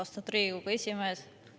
Austatud Riigikogu esimees!